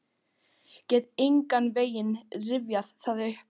Get engan veginn rifjað það upp.